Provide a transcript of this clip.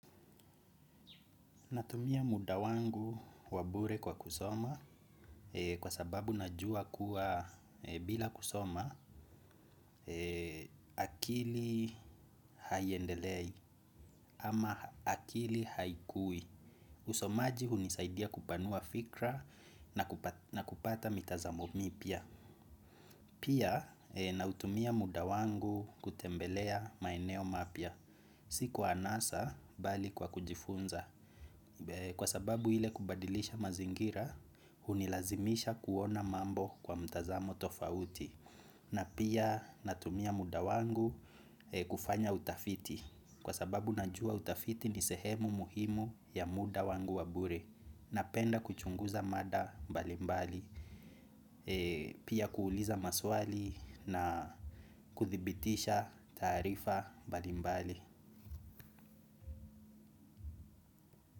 Natumia muda wangu wa bure kwa kusoma kwa sababu najua kuwa bila kusoma akili haiendelei ama akili haikui. Usomaji hunisaidia kupanua fikra na kupata mitazamo mipya. Pia, nautumia muda wangu kutembelea maeneo mapya. Si kwa anasa bali kwa kujifunza. Kwa sababu ile kubadilisha mazingira, hunilazimisha kuona mambo kwa mtazamo tofauti na pia natumia muda wangu kufanya utafiti. Kwa sababu najua utafiti ni sehemu muhimu ya muda wangu wa bure napenda kuchunguza mada mbalimbali, pia kuuliza maswali na kuthibitisha taarifa mbalimbali.